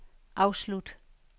afslut